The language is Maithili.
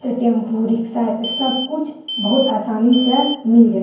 ते टेंपू रिक्शा लेने एता सब कुछ बहुत आसानी से मिल जायत।